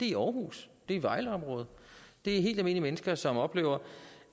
i aarhus det er i vejleområdet det er helt almindelige mennesker som oplever